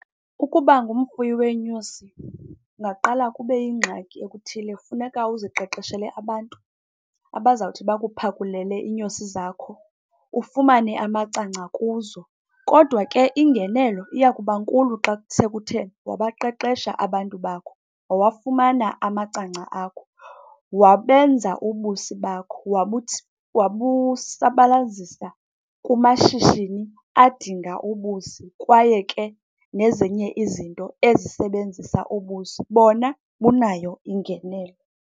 Ukuba ngumfuyi weenyosi kungaqala kube yingxaki okuthile, funeka uziqeqeshele abantu abazawuthi bakuphakulele iinyosi zakho ufumane amacangca kuzo. Kodwa ke ingenelo iya kuba nkulu xa sekuthe wabaqeqesha abantu bakho, wawafumana amacangca akho, wabenza ubusi bakho wabusabalazisa kumashishini adinga ubusi kwaye ke nezinye izinto ezisebenzisa ubusi. Bona bunayo ingenelo.